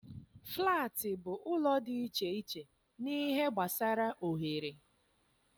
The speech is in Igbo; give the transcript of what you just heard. Flaatị bụ ụlọ dị iche iche n'ihe gbasara oghere.